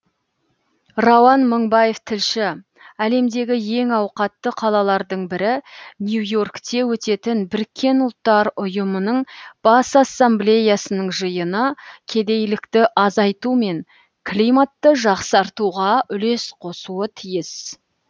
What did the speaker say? рауан мыңбаев тілші әлемдегі ең ауқатты қалалардың бірі нью и оркте өтетін біріккен ұлттар ұйымының бас ассамблеясының жиыны кедейлікті азайту мен климатты жақсартуға үлес қосуы тиіс